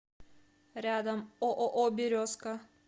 рядом ооо березка